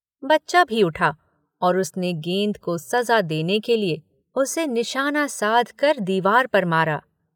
बच्चा भी उठा और उसने गेंद को सज़ा देने के लिए उसे निशाना साधकर दीवार पर मारा।